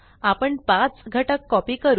आपण 5 घटक कॉपी करू